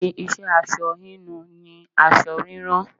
Òpin iṣẹ́ aṣọ hínu ni aṣọ rírán.